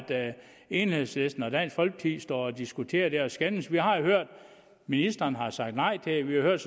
enhedslisten og dansk folkeparti står og diskuterer det her og skændes vi har jo hørt at ministeren har sagt nej til det vi har hørt